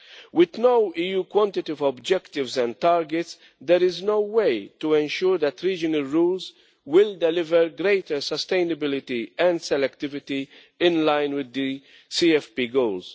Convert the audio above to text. With no EU quantitative objectives and targets, there is no way to ensure that regional rules will deliver greater sustainability and selectivity in line with the CFP goals.